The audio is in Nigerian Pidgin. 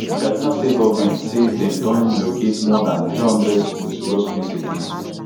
di kaduna state goment say dem don relocate more dan three hundred schools becos of insecurity